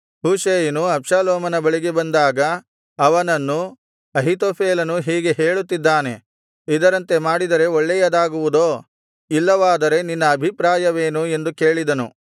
ಹೂಷೈಯನು ಅಬ್ಷಾಲೋಮನ ಬಳಿಗೆ ಬಂದಾಗ ಅವನನ್ನು ಅಹೀತೋಫೆಲನು ಹೀಗೆ ಹೇಳುತ್ತಿದ್ದಾನೆ ಇದರಂತೆ ಮಾಡಿದರೆ ಒಳ್ಳೆಯದಾಗುವುದೋ ಇಲ್ಲವಾದರೆ ನಿನ್ನ ಅಭಿಪ್ರಾಯವೇನು ಎಂದು ಕೇಳಿದನು